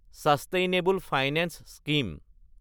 sustainable finance scheme